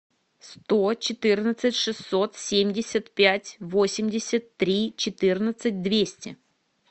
сто четырнадцать шестьсот семьдесят пять восемьдесят три четырнадцать двести